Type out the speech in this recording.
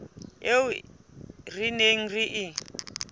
eo re neng re e